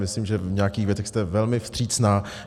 Myslím, že v nějakým věcech jste velmi vstřícná.